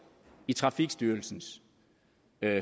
i trafikstyrelsens